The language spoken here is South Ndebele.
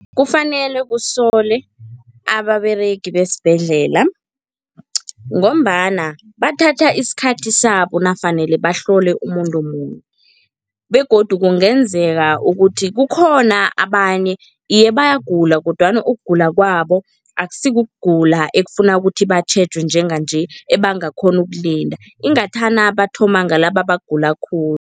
Kufanele kusolwe ababeregi besibhedlela ngombana bathatha isikhathi sabo nakufanele bahlole umuntu munye begodu kungenzeka ukuthi kukhona abanye, iye bayagula kodwana ukugula kwabo akusikugula ekufana ukuthi batjhejwe njenganje ebangakghona ukulinda, ingathana bathoma ngalaba abagula khulu.